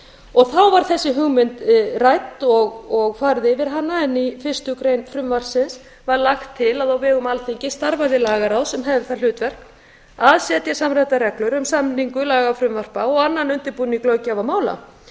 og þá var þessi hugmynd rædd og farið yfir hana en í fyrstu grein frumvarpsins var lagt til að á vegum alþingis starfaði lagaráð sem hefði það hlutverk að setja samræmdar reglur um samningu lagafrumvarpa og annan undirbúning löggjafarmála